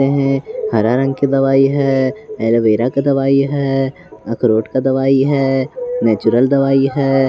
हरा रंग की दवाई है एलोवेरा का दवाई है अखरोट का दवाई है नेचुरल दवाई है।